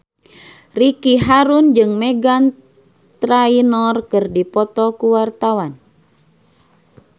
Ricky Harun jeung Meghan Trainor keur dipoto ku wartawan